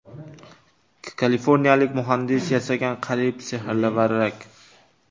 Kaliforniyalik muhandis yasagan qariyb sehrli varrak.